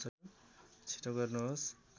छिटो गर्नुहोस्